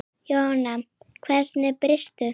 Jóhann: Við hverju býstu?